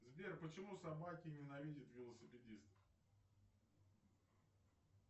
сбер почему собаки ненавидят велосипедистов